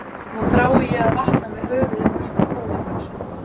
Nú þrái ég að vakna með höfuðið fullt af góðum hugsunum.